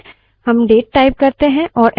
अतः हम साधारणतः keyboard से input देते हैं